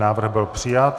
Návrh byl přijat.